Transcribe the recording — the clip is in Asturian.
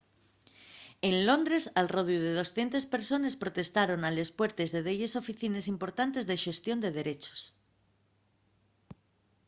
en londres al rodiu 200 persones protestaron a les puertes de delles oficines importantes de xestión de derechos